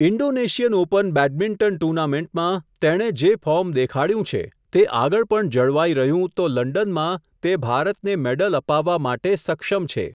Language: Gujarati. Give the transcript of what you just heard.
ઇન્ડોનેશિયન ઓપન બેડમિંગ્ટન ટૂર્નામેન્ટમાં, તેણે જે ફોર્મ દેખાડયું છે, તે આગળ પણ જળવાઈ રહ્યું તો લંડનમાં તે ભારતને મેડલ અપાવવા માટે સક્ષમ છે.